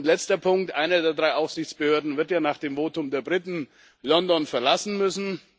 Letzter Punkt Eine der drei Aufsichtsbehörden wird ja nach dem Votum der Briten London verlassen müssen.